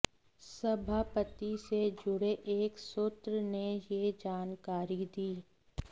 सभापति से जुड़े एक सूत्र ने यह जानकारी दी